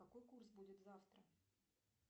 какой курс будет завтра